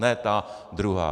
Ne ta druhá.